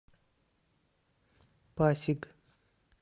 пасиг